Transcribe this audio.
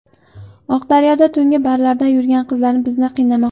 Oqdaryoda tungi barlarda yurgan qizlar bizni qiynamoqda.